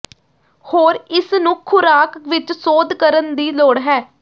ਹੋਰ ਇਸ ਨੂੰ ਖੁਰਾਕ ਵਿਚ ਸੋਧ ਕਰਨ ਦੀ ਲੋੜ ਹੈ